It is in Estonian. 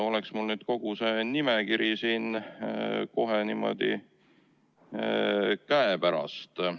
Oleks mul nüüd kogu see nimekiri siin kohe niimoodi käepärast.